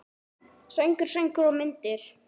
Söngur, sögur og myndir.